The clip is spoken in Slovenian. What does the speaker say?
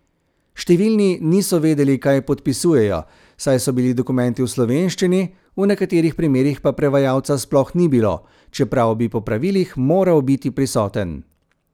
Številni niso vedeli, kaj podpisujejo, saj so bili dokumenti v slovenščini, v nekaterih primerih pa prevajalca sploh ni bilo, čeprav bi po pravilih moral biti prisoten.